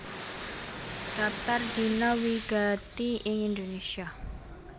Dhaptar Dina wigati ing Indonésia